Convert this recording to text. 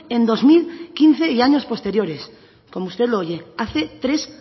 en dos mil quince y años posteriores como usted lo oye hace tres